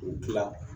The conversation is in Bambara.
U bɛ tila